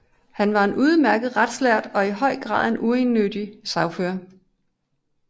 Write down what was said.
Han var en udmærket retslærd og en i høj grad uegennyttig sagfører